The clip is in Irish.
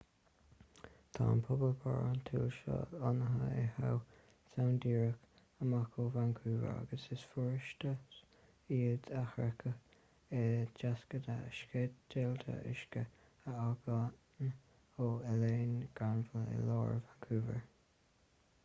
tá an pobal barántúil seo lonnaithe i howe sound díreach amach ó vancouver agus is furasta iad a shroicheadh i dtacsaithe sceidealta uisce a fhágann ó oileán granville i lár vancouver